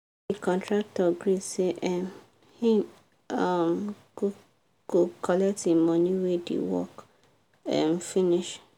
the contractor gree say um he um go collect him money when the work um finish